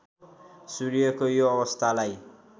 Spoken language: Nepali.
सूर्यको यो अवस्थालाई